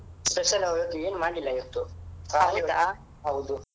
Special ಇವತ್ತು ಏನ್ ಮಾಡ್ಲಿಲ್ಲಾ ಇವತ್ತು ಹೌದು.